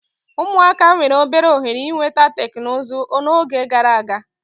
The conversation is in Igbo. Ụmụaka nwere obere ohere ịnweta teknụzụ n'oge gara aga.